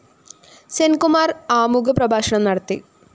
സെന്‍കുമാര്‍ ആമുഖ പ്രഭാഷണം നടത്തി